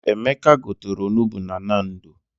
Emeka gotere onugbu na Nando.